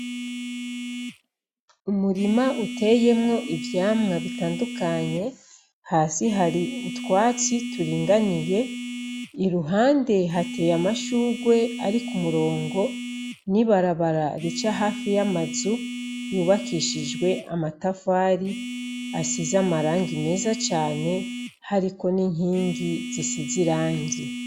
Umurima uteyemwo ivyamwa bitandukanye. Hasi hari utwatsi turinganiye, iruhande hateye amashurwe ari ku murongo, n'ibarabara rica hafi y'amazu yubakishijwe amatafari asize amarangi meza cane, hariko n'inkingi zisize irangi.